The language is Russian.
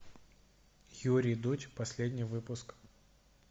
юрий дудь последний выпуск